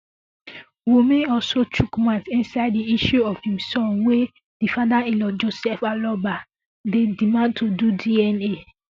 wunmi also chook mouth inside di issue of im son wey um di fatherinlaw joseph aloba dey demand to do um dna